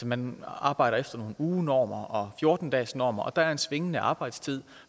man arbejder efter nogle ugenormer og fjorten dagesnormer og der er en svingende arbejdstid